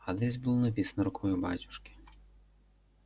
адрес был написан рукою батюшки